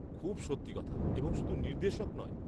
-খুব সত্যি কথা এবং শুধু নির্দেশক নয়।